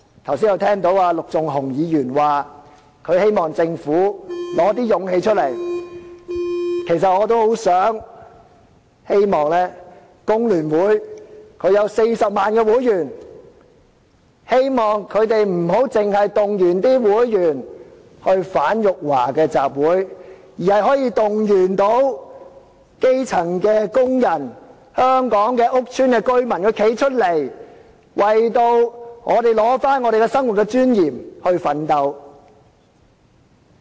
我剛才聽到陸頌雄議員表示希望政府拿出勇氣，我也希望有40萬名會員的香港工會聯合會，不要只是動員會員參加反辱華的集會，而是動員基層工人、香港屋邨的居民站出來，為取回我們生活的尊嚴而奮鬥。